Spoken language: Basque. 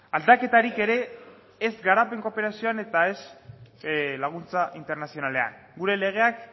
aldaketarik ere ez garapen kooperazioan eta ez laguntza internazionalean gure legeak